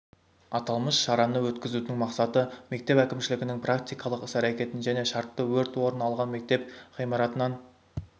аталмыш шараны өткізудің мақсаты мектеп әкімшілігінің практикалық іс-әрекетін және шартты өрт орын алған мектеп ғимаратынан